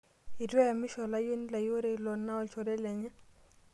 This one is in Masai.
Etu eyamisho olayioni lai ore ilo naa olchore lenye.